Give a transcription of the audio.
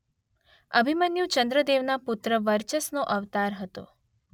અભિમન્યુ ચંદ્રદેવના પુત્ર વર્ચસનો અવતાર હતો.